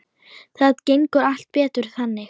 Það gengur allt betur þannig.